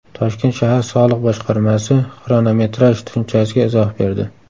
Toshkent shahar soliq boshqarmasi xronometraj tushunchasiga izoh berdi.